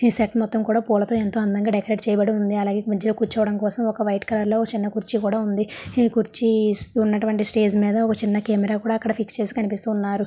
మొత్తం కూడా పూలతో ఎంతో అందంగా డెకరేట్ చేయబడి ఉంది. అలాగే కూర్చోడానికి కోసం ఒక వైట్ కలర్ లో ఒక చిన్న కుర్చీ కూడా ఉంది. ఈ చేర్చి ఉన్నటువంటి స్టేజి మీద ఒక చిన్న కెమెరా కూడా అక్కడ ఫిక్స్ చేసి ఉన్నారు.